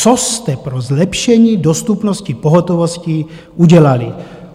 Co jste pro zlepšení dostupnosti pohotovosti udělali?